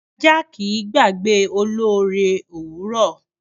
Ajá kì í gbàgbé olóore òwúrọ̀.